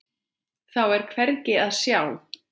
Þá er hvergi að sjá.